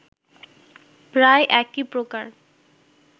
প্রায় একই প্রকার